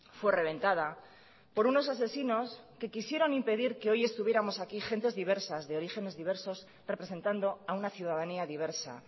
fue reventada por unos asesinos que quisieron impedir que hoy estuviéramos aquí gentes diversas de orígenes diversos representando a una ciudadanía diversa